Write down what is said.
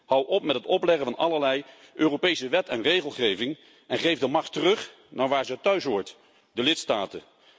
Hou op met het opleggen van allerlei Europese wet en regelgeving en geef de macht terug naar waar ze thuishoort de lidstaten.